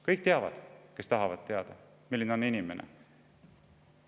Kõik teavad – kes tahavad teada –, milline see inimene on.